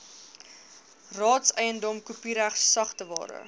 raadseiendom kopiereg sagteware